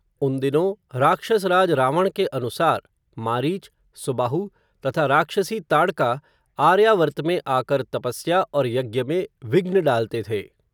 उन दिनों, राक्षसराज रावण के अनुसार, मारीच, सुबाहु तथा राक्षसी ताड़का, आर्यावर्त में आकर, तपस्या और यज्ञ में, विघ्न डालते थे